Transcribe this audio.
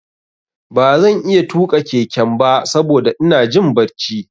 Ba zan iya tuƙa keken ba saboda ina jin barci.